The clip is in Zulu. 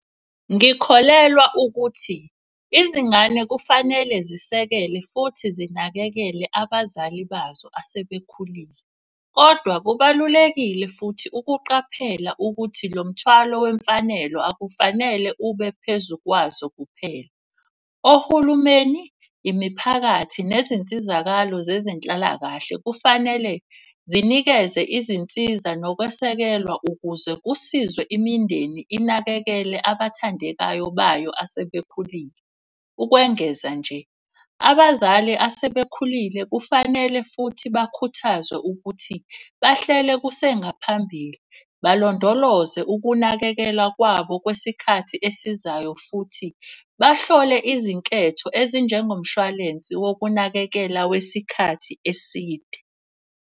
Ngikholelwa ukuthi izingane kufanele zisekele futhi zinakekele abazali bazo asebekhulile. Kodwa kubalulekile futhi ukuqaphela ukuthi lo mthwalo wemfanelo akufanele ube phezu kwazo kuphela. Ohulumeni, imiphakathi, nezinsizakalo zezenhlalakahle kufanele zinikeze izinsiza nokwesekelwa. Ukuze kusizwe imindeni inakekele abathandekayo bayo asebekhulile. Ukwengeza nje abazali asebekhulile kufanele futhi bakhuthazwe ukuthi bahlele kusengaphambili balondoloze ukunakekela kwabo kwesikhathi esizayo. Futhi bahlole izinketho ezinjengo mshwalensi wokunakekela wesikhathi eside.